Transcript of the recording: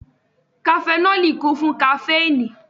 Kafẹnọli kún fún kaféìnì